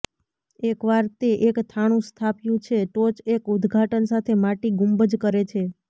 એકવાર તે એક થાણું સ્થાપ્યું છે ટોચ એક ઉદઘાટન સાથે માટી ગુંબજ કરે છે